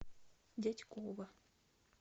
дятьково